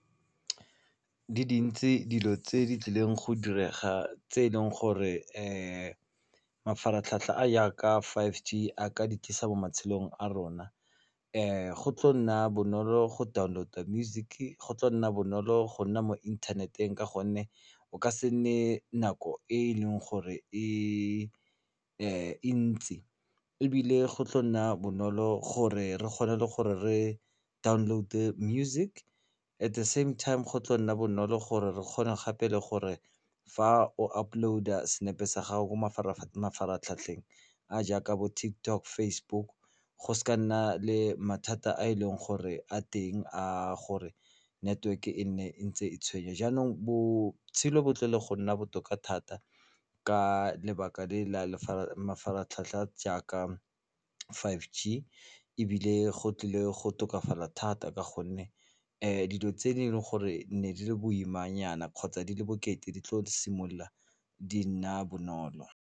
Di dintsi dilo tse di tlileng go direga tse eleng gore mafaratlhatlha a yaka bo five G a ka di tlisa mo matshelong a rona go tlo nna bonolo go download-a music, go tla nna bonolo go nna mo inthaneteng ka gonne o ka se nne nako e e leng gore e ntsi ebile go tlo nna bonolo gore re kgone le gore re download-e music at the same time go tla nna bonolo gore re kgone gape le gore fa o upload-a senepe sa gago ko mafaratlhatlheng a jaaka bo TikTok, Facebook go se ka nna le mathata a e leng gore a teng a gore network-e e nne e ntse e tshwenya jaanong botshelo bo tlile go nna botoka thata ka lebaka le la mafaratlhatlha jaaka five G ebile go tlile go tokafala thata ka gonne dilo tse e leng gore di ne di le boimanyana kgotsa di le bokete di tlo simolola di nna bonolo.